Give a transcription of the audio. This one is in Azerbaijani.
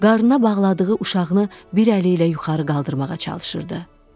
Qarnına bağladığı uşağını bir əli ilə yuxarı qaldırmağa çalışırdı.